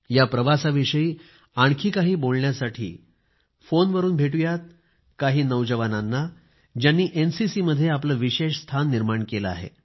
या प्रवासाविषयी आणखी काही बोलण्यासाठी फोनवरून भेटूयात काही नौजवानांना ज्यांनी एनसीसी मध्ये आपले विशेष स्थान निर्माण केले आहे